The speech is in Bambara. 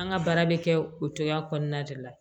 An ka baara bɛ kɛ o cogoya kɔnɔna de la